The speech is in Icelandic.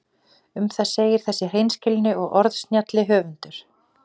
Um það segir þessi hreinskilni og orðsnjalli höfundur: